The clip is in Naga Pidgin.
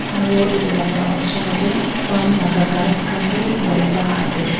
aru etu laga oser te palm laga ghass khan bi borta ase.